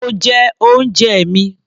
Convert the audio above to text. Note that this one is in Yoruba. Mo jẹ oúnjẹ mi.